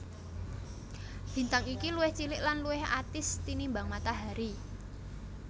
Bintang iki luwih cilik lan luwih atis tinimbang Matahari